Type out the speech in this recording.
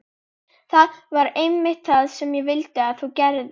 Það var einmitt það sem ég vildi að þú gerðir.